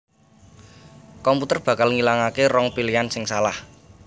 komputer bakal ngilangaké rong pilihan sing salah